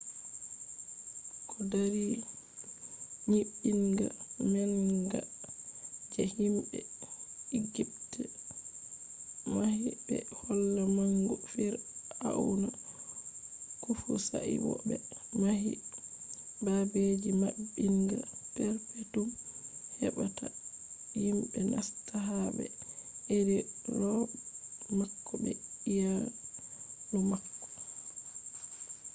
ko dari nyiɓinga manga je himɓe igipt mahi ɓe holla mangu fir’auna kufu sai bo ɓe mahi babeji maɓɓinga perpetum heɓa ta himɓe nasta ha ɓe iri roɓe mako be iyaalu mako